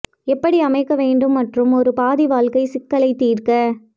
எப்படி அமைக்க வேண்டும் மற்றும் ஒரு பாதி வாழ்க்கை சிக்கலை தீர்க்க